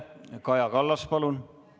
Kaja Kallas, palun!